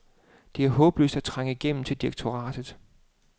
Det er håbløst at trænge igennem til direktoratet.